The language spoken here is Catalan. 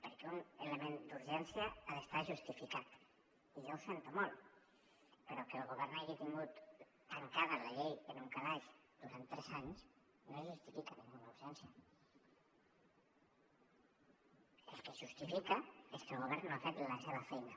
perquè un element d’urgència ha d’estar justificat i jo ho sento molt però que el govern hagi tingut tancada la llei en un calaix durant tres anys no justifica cap urgència el que justifica és que el govern no ha fet la seva feina